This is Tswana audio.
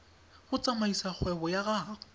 go tsamaisa kgwebo ya gago